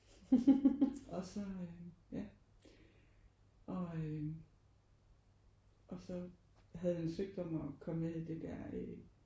Og så øh ja og øh og så havde han søgt om at komme med i det der øh